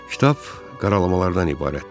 Kitab qaralamalardan ibarətdir.